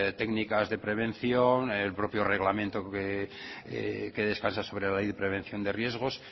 técnicas de prevención el propio reglamento que descansa sobre la ley de prevención de riesgos